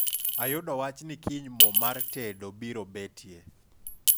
ayudo wach ni kiny mo mar tedo biro betie